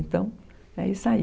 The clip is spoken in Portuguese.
Então, é isso aí.